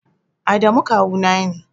Adamu kawu na ne